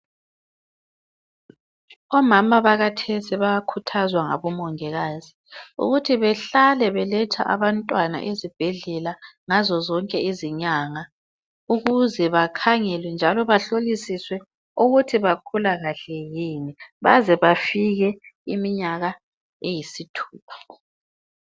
Omama bakathesi bayakhuthazwa ngabomongikazi ukuthi behlale beletha abantwana ezibhedlela ngazo zonke izinyanga ukuze bakhangelwe njalo bahlolisiswe ukuthi bakhula kahle yini baze bafike iminyaka eyisithupha.